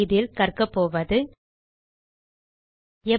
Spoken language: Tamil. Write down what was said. இதில் கற்கப்போவது எப்படி